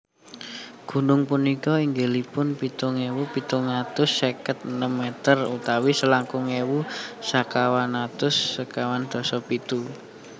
Gunung punika inggilipun pitung ewu pitung atus seket enem meter utawi selangkung ewu sekawan atus sekawan dasa pitu kaki